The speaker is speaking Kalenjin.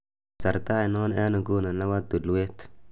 kasarta ainon en inguni nepo tulwet